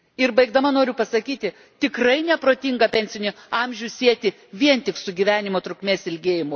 Ir baigdama noriu pasakyti tikrai neprotinga pensinį amžių sieti vien tik su gyvenimo trukmės ilgėjimu.